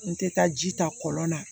N tɛ taa ji ta kɔlɔn na